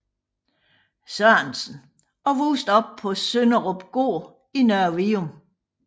Sørensen og voksede op på Sønderupgård i Nørre Vium